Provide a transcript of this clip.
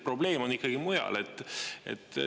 Probleem on ikkagi mujal.